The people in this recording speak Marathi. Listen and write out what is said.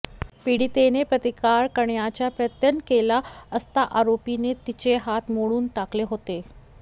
पीडितेने प्रतिकार करण्याचा प्रयत्न केला असता आरोपीने तिचे हात मोडून टाकले होते